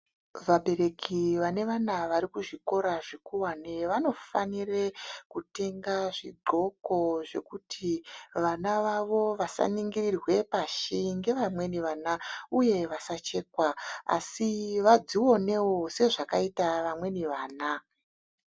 Vabereki vane vana vari kuzvikora zvikowane vanofanire kutenga zvigqoko zvekuti vana vavo vasaningirirwe pashi ngevamweni vana uye vasashekwa vadzioneo sezvakaita vamweni vana.